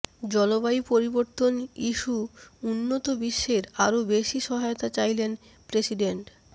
জলবায়ু পরিবর্তন ইস্যু উন্নত বিশ্বের আরো বেশি সহায়তা চাইলেন প্রেসিডেন্ট